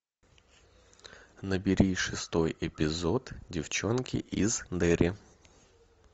набери шестой эпизод девчонки из дерри